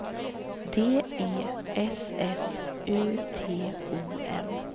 D E S S U T O M